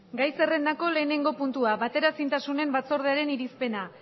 gai zerrendako lehenengo puntua bateraezintasunen batzordearen irizpena